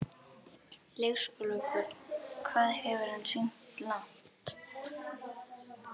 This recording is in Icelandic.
Leikskólabörn: Hvað hefur hann synt langt?